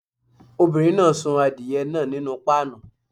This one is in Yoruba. Obìnrin náà sun adìye náà nínú páànù.